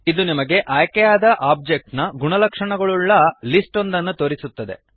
ಇದು ನಿಮಗೆ ಆಯ್ಕೆಯಾದ ಆಬ್ಜೆಕ್ಟ್ ನ ಗುಣಲಕ್ಷಣಗಳನ್ನುಳ್ಳ ಲಿಸ್ಟ್ ಒಂದನ್ನು ತೋರಿಸುತ್ತದೆ